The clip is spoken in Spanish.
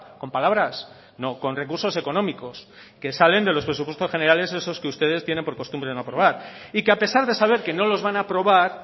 con palabras no con recursos económicos que salen de los presupuestos generales esos que ustedes tienen por costumbre no aprobar y que a pesar de saber que no los van a aprobar